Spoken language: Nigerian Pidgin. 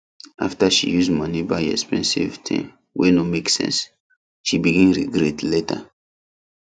after she use money buy expensive thing wey no make sense she begin regret later